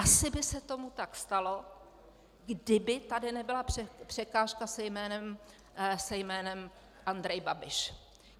Asi by se tomu tak stalo, kdyby tady nebyla překážka se jménem Andrej Babiš.